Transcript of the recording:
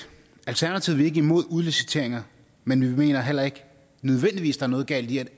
alternativet er ikke imod udliciteringer men vi mener heller ikke der nødvendigvis er noget galt i at